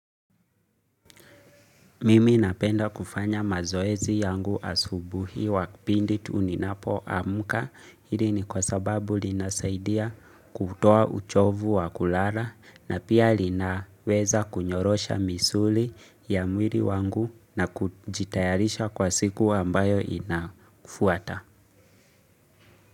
Mimi napenda kufanya mazoezi yangu asubuhi pindi tu ninapo amka hili ni kwa sababu linasaidia kutoa uchovu wa kulala na pia linaweza kunyorosha misuli ya mwili wangu na kujitayarisha kwa siku ambayo inafuata.